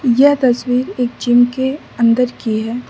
यह तस्वीर एक जिम के अंदर की है।